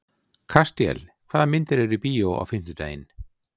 Kastíel, hvaða myndir eru í bíó á fimmtudaginn?